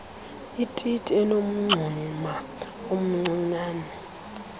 ititi enomngxuma omncianen